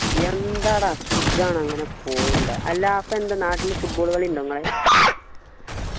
എന്തടാ സുഖാണ് അങ്ങനെ പോണ്ണ്ട് അല്ല അപ്പൊ എന്താ നാട്ടില് football കളി ഉണ്ടോ നിങ്ങളെ